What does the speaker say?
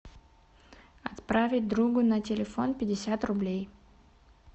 отправить другу на телефон пятьдесят рублей